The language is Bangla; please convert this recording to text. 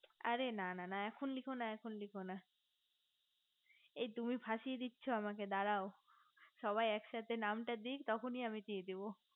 আরে না না এখন লিখো না এখন লিখো না এই তুমি ফাঁসিয়ে দিচ্ছ আমাকে দাড়াও সবাই একসঙ্গে নামটা দিক তখনি আমি নামটা দিয়ে দেব